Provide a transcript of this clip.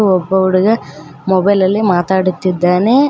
ಒ ಒಬ್ಬ ಹುಡುಗ ಮೊಬೈಲ್ ಅಲ್ಲಿ ಮಾತಾಡುತ್ತಿದ್ದಾನೆ.